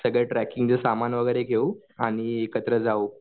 सगळे ट्रेकिंगचे सामान वगैरे घेऊ आणि एकत्र जाऊ.